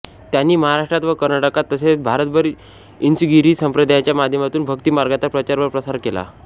त्यांनी महाराष्ट्रात व कर्नाटकात तसेच भारतभर इंचगिरी संप्रदायाच्या माध्यमातून भक्ती मार्गाचा प्रचार व प्रसार केला